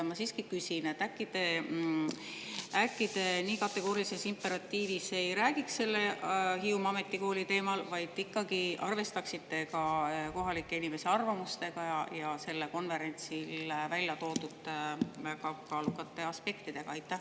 Ma siiski küsin: äkki te nii kategoorilises imperatiivis ei räägiks Hiiumaa Ametikooli teemal, vaid ikkagi arvestaksite ka kohalike inimeste arvamusega ja sellel konverentsil välja toodud väga kaalukate aspektidega?